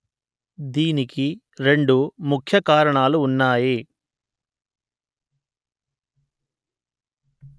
దీనికి రెండు ముఖ్య కారణాలు ఉన్నాయి